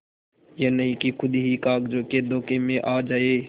यह नहीं कि खुद ही कागजों के धोखे में आ जाए